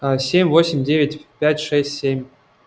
а семь восемь девять пять шесть семь